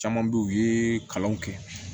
Caman bɛ yen u ye kalanw kɛ